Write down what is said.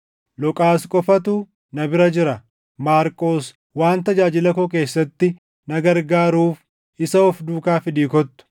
Luqaas qofatu na bira jira. Maarqos waan tajaajila koo keessatti na gargaaruuf isa of duukaa fidii kottu.